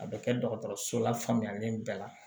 A bɛ kɛ dɔgɔtɔrɔso la faamuyalen bɛɛ la